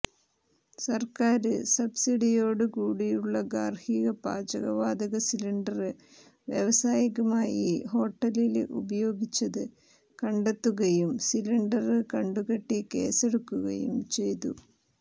സര്ക്കാര് സബ്സിഡിയോടു കൂടിയുള്ള ഗാര്ഹിക പാചക വാതക സിലിണ്ടര് വ്യാവസായികമായി ഹോട്ടലില് ഉപയോഗിച്ചത് കണ്ടെത്തുകയും സിലിണ്ടര് കണ്ടുകെട്ടി കേസെടുക്കുകയും ചെയ്തു